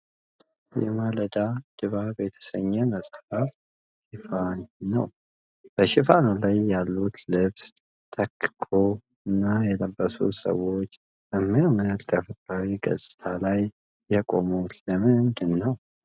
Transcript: የ"የማልዳ ድባብ" የተሰኘ መጽሐፍ ሽፋን ነው። በሽፋኑ ላይ ያሉት ልብሰ ተክኮ እና የለበሱት ሰዎች የሚያምር ተፈጥሯዊ ገጽታ ላይ የቆሙት ለምንድነው?